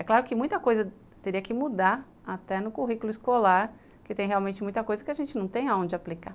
É claro que muita coisa teria que mudar até no currículo escolar, porque tem realmente muita coisa que a gente não tem aonde aplicar.